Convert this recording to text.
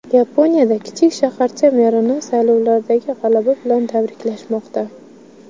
Yaponiyada kichik shaharcha merini saylovlardagi g‘alaba bilan tabriklashmoqda.